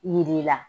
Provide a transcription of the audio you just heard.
Yir'i la